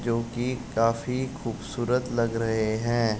जो कि काफी खूबसूरत लग रहे हैं।